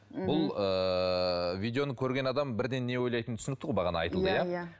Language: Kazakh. бұл ыыы видеоны көрген адам бірден не ойлайтыны түсінікті ғой бағана айтылды иә иә